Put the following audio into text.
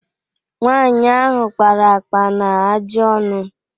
nwaanyị ahụ kpara akpa na ajị ọnụ